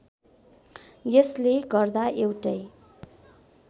यसले गर्दा एउटै